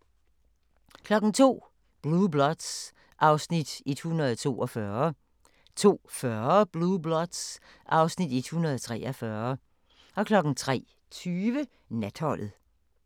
02:00: Blue Bloods (Afs. 142) 02:40: Blue Bloods (Afs. 143) 03:20: Natholdet